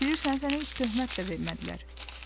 Bilirsən, sənə heç töhmət də vermədilər.